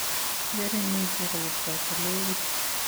Ngeringitu robta ko legit